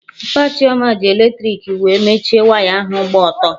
Mpa Chioma ji eletrik tepu wee mechie waya ahụ gba ọtọ